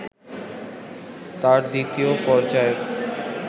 তার দ্বিতীয় পর্যায়ের